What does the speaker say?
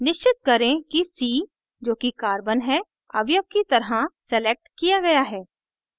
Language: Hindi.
निश्चित करें कि c जो की carbon है अवयव की तरह selected किया गया है